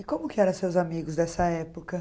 E como que era seus amigos dessa época?